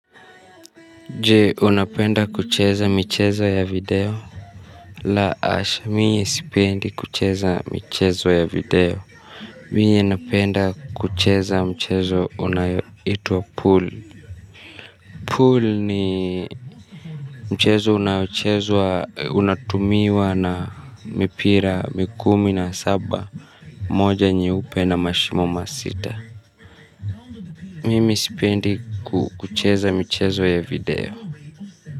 Je unapenda kucheza mchezo ya video. La hasha mie sipendi kucheza michezo ya video. Miye napenda kucheza mchezo unaoitwa pool Pool ni mchezo unatumiwa na mipira kumi na saba. Moja nyeupe na mashimo masita. Mimi sipendi kucheza mchezo ya video.